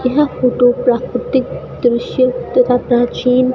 यह फोटो प्राकृतिक दृश्य तथा प्राचीन--